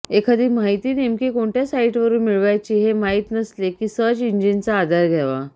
एखादी माहिती नेमकी कोणत्या साइटवरून मिळवायची हे माहीत नसले की सर्च इंजिनचा आधार घ्यावा